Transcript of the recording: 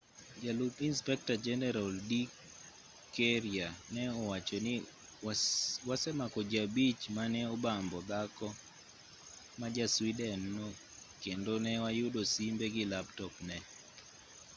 jalup inspekta jeneral d karya ne owacho ni wasemako ji abich mane obambo dhako ma ja_sweden no kendo ne wayudo simbe gi laptop ne